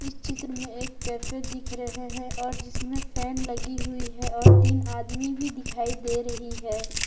चित्र में एक कैफे दिख रहे हैं और जिसमें फैन लगी हुई है और तीन आदमी भी दिखाई दे रही है।